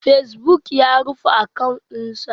Facebook ya rufe akawun din sa.